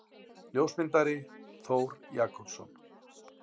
Ljósmyndari: Þór Jakobsson.